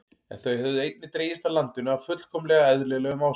En þau höfðu einnig dregist að landinu af fullkomlega eðlilegum ástæðum.